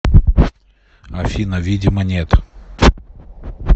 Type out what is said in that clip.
афина видимо нет